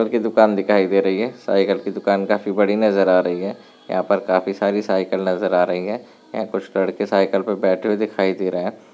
Cycle की दुकान दिखाई दे रही है साइकिल की दुकान काफी बड़ी नजर आ रही है यहां पर काफी सारी साइकिल नजर आ रही है यहाँ कुछ लड़के साइकिल पर बैठे हुए दिखाई दे रहे हैं।